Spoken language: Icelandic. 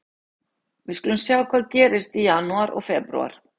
Við skulum sjá hvað gerist í janúar og febrúar.